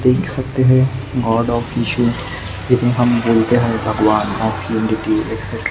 देख सकते हैं गॉड ऑफ इश्यू जिन्हें हम बोलते है भगवान --